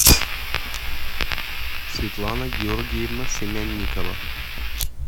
светлана георгиевна семянникова